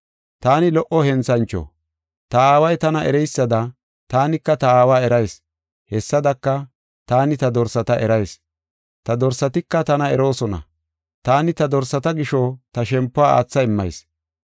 “Taani lo77o henthancho. Ta Aaway tana ereysada taanika ta Aawa erayis. Hessadaka, taani ta dorsata erayis; ta dorsatika tana eroosona. Taani ta dorsata gisho ta shempuwa aatha immayis.